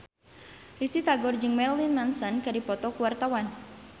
Risty Tagor jeung Marilyn Manson keur dipoto ku wartawan